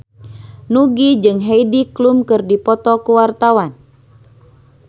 Nugie jeung Heidi Klum keur dipoto ku wartawan